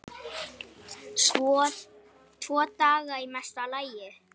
Tvo daga í mesta lagi.